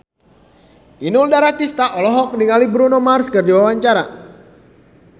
Inul Daratista olohok ningali Bruno Mars keur diwawancara